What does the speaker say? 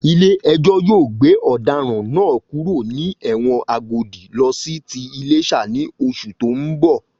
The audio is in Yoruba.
Ilé ẹjọ́ yóò gbé ọ̀daràn náà kúrò ní ẹ̀wọ̀n Agodi lọ sí ti Iléṣà ní oṣù tó ń bọ̀